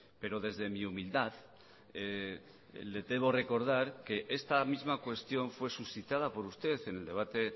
pero desde mi humildad le debo recordar que esta misma cuestión fue suscitada por usted en el debate